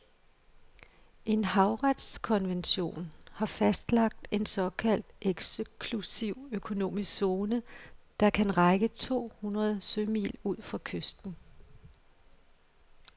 En havretskonvention har fastlagt en såkaldt eksklusiv økonomisk zone, der kan række to hundrede sømil ud fra kysten.